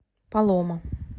палома